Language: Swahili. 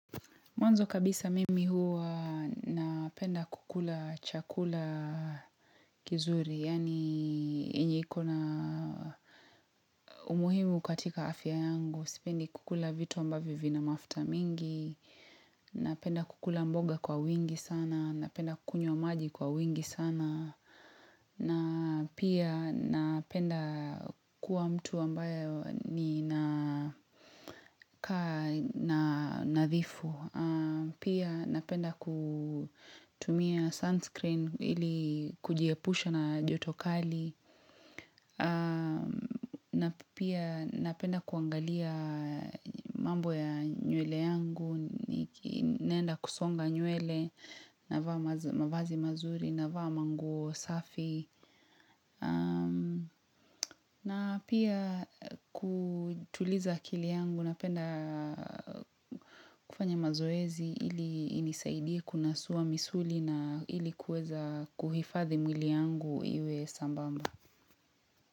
Mwanzo kabisa mimi huwa napenda kukula chakula kizuri. Yaani yenye iko na umuhimu katika afya yangu. Sipendi kukula vitu ambavyo vina mafuta mingi. Napenda kukula mboga kwa wingi sana. Napenda kunywa maji kwa wingi sana. Na pia napenda kuwa mtu ambayo ninakaa na nadhifu. Pia napenda kutumia sunscreen ili kujiepusha na joto kali na pia napenda kuangalia mambo ya nywele yangu, naenda kusonga nywele navaa mavazi mazuri navaa manguo safi. Na pia kutuliza akili yangu napenda kufanya mazoezi ili inisaidie kunasuwa misuli na ili kuweza kuhifadhi mwili yangu iwe sambamba.